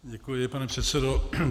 Děkuji, pane předsedo.